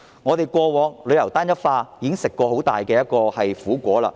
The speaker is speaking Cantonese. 我們過往因為旅遊業單一化，已經嘗到很大的苦果。